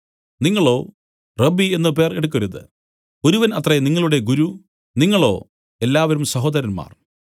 നിങ്ങളോ റബ്ബീ എന്നു പേർ എടുക്കരുത് ഒരുവൻ അത്രേ നിങ്ങളുടെ ഗുരു നിങ്ങളോ എല്ലാവരും സഹോദരന്മാർ